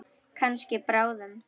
Kannski bráðum.